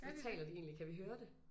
Gør de det?